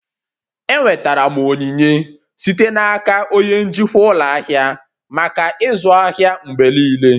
Enwetara m onyinye site n'aka onye njikwa ụlọ ahịa maka ịzụ ahịa mgbe niile